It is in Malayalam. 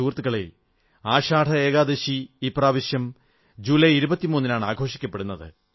സുഹൃത്തുക്കളേ ആഷാഢ ഏകാദശി ഇപ്രാവശ്യം ജൂലൈ23 നാണ് ആഘോഷിക്കപ്പെടുന്നത്